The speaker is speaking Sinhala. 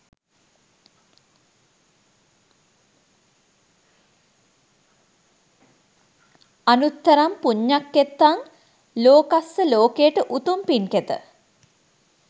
අනුත්තරං පුඤ්ඤඛෙත්තං ලෝකස්සලෝකයට උතුම් පින්කෙත